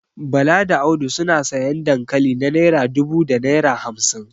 Bala da Audu suna sayan dankali na naira dubu da naira hamsin